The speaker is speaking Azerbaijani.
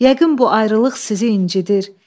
Yəqin bu ayrılıq sizi incidir.